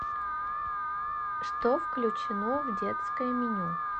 что включено в детское меню